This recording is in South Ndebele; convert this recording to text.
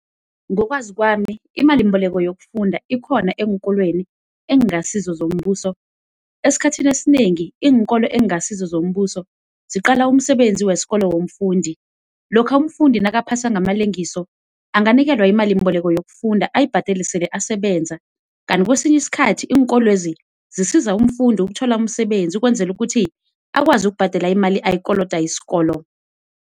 Ngokwazo kwami imali yimbeleko yokufunda ikhona eenkolweni ekungasizo zombuso, esikhathini esinengi iinkolo ekungasizo zombuso ziqala umsebenzi wesikolo womfundi lokha umfundi nakaphasa ngamalengiso anganikelwa imalimboleko yokufunda ayibhadele esele asebenza kanti kwesinye isikhathi iinkolwezi zisiza umfundi ukuthola umsebenzi ukwenzela ukuthi akwazi ukubhadela imali ayikoloda isikolo.